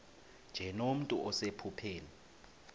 nje nomntu osephupheni